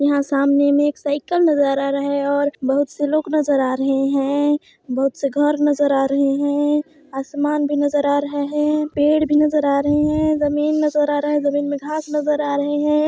यहा सामने मे एक साइकिल नजर आ रहा है और बहुत से लोक नजर आ रहे है बहुत से घर नजर आ रहे हैं आसमान भी नजर आ रहे हैं पेड़ भी नजर आ रहे हैं जमींन नजर आ रहा है जमींन मे घास नजर आ रही है।